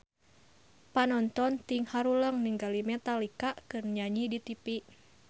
Panonton ting haruleng ningali Metallica keur nyanyi di tipi